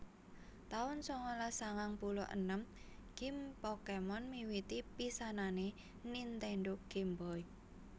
taun sangalas sangang puluh enem Gim Pokémon miwiti pisanané Nintendo Game Boy